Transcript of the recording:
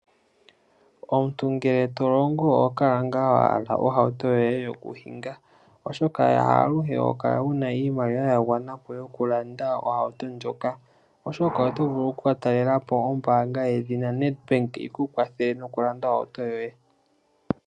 Omuntu ngele to longo oho kala ngaa wa hala ohauto yoye yokuhinga, oshoka haaluhe ho kala wu na iimaliwa ya gwana po yokulanda ohauto ndjoka, oto vule ihe oku ka talela po ombaanga yedhina Nedbank yi ku kwathele nokulanda ohauto yoye.